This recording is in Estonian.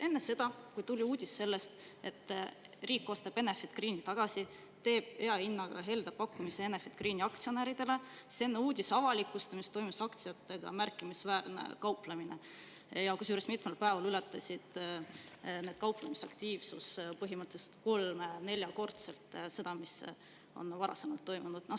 Enne seda, kui tuli uudis sellest, et riik ostab Enefit Greeni tagasi, teeb hea hinnaga, helde pakkumise Enefit Greeni aktsionäridele, enne uudise avalikustamist toimus aktsiatega märkimisväärne kauplemine, kusjuures mitmel päeval ületas kauplemisaktiivsus põhimõttelisest kolme-neljakordselt seda, mis on varem toimunud.